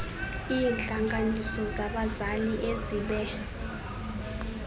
iintlanganiso zabazali ezibe